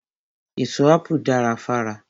Èso Ápù dara fára.